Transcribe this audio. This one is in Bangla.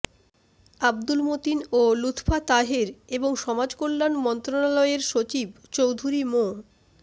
আব্দুল মতিন ও লুৎফা তাহের এবং সমাজকল্যাণ মন্ত্রণালয়ের সচিব চৌধুরী মো